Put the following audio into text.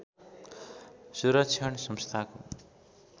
सुरक्षण संस्थाको